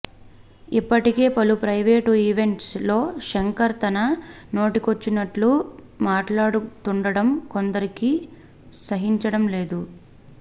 ఇప్పటికే పలు private events లో శంకర్ తన నోటికొచ్చినట్లు మాట్లాడుతుండడం కొందరికి సహించడం లేదు